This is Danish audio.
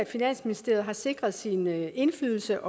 finansministeriet har sikret sin indflydelse